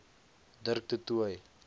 dirk du toit